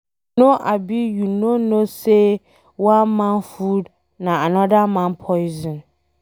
You know abi you no know sey one man food na anoda man poison